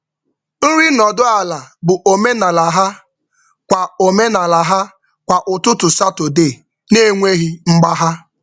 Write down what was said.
Nri nọdụ ala bụ omenala ha kwa ụtụtụ Satọde na-enweghị mgbagha.